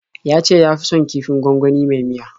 Ya ce ya fi son kifin gwangwani mai miya.